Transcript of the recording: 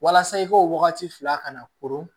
Walasa i ko wagati fila kana koron